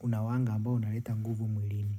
unawanga ambao unaleta nguvu mwilini.